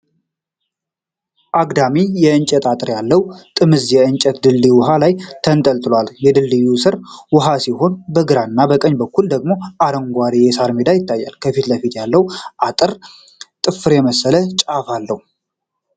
አግዳሚ የእንጨት አጥር ያለው ጥምዝ የእንጨት ድልድይ ውኃ ላይ ተንጠልጥሏል:: በድልድዩ ስር ውኃ ሲሆን በግራና በቀኝ በኩል ደግሞ አረንጓዴ የሣር ሜዳ ይገኛል:: ከፊት ለፊት ያለው አጥር ጥፍር የመሰለ ጫፍ አለው::